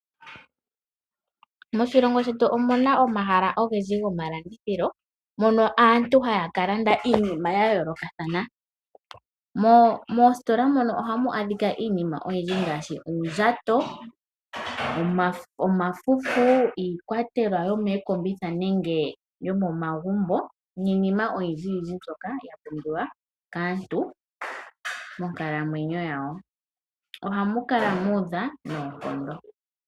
Moshilongo shetu omu na omahala ogendji gomalandithilo mono aantu haya ka landa iinima ya yoolokathana. Moositola mono ohamu adhika iinima oyindji ngaashi oondjato, omafufu, iikwatelwa yomookombitha nenge yomomagumbo niinima oyindjiyindji mbyoka ya pumbiwa kaantu monkalamwenyo yawo. Ohamu kala mu udha noonkondo.